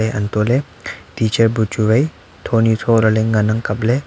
anto ley teacher bu chu wai thoni tho lah ley ngan ley kap ley tailey.